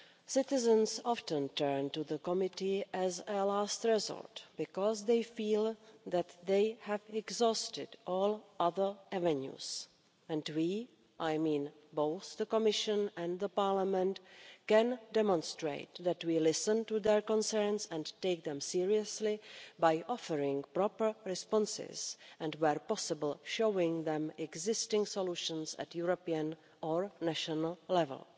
Citizens often turn to the committee as a last resort because they feel that they have exhausted all other avenues, and we, both the Commission and the Parliament, can demonstrate that we listen to their concerns and take them seriously by offering proper responses and, where possible, showing them existing solutions at European or national level.